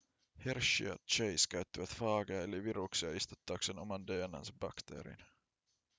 hershey ja chase käyttivät faageja eli viruksia istuttaakseen oman dna:nsa bakteeriin